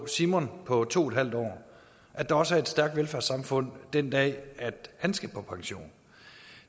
simon på to en halv år og at der også er stærkt velfærdssamfund den dag han skal på pension